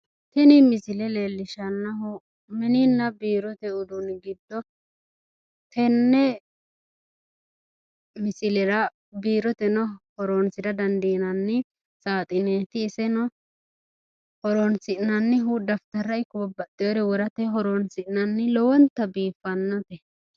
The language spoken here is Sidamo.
Tini misile leellishshannohu mininna biirote uduunni giddo tenne misilera biiroteno hooronsira dandiinanni saaxineeti. Iseno horoonsi'nannihu dafitarra ikko babbaxxeyore worate horoonsi'nanni lowonta biiffannote.